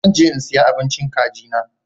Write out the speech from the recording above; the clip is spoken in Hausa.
Zan je in siya abincin kagi na.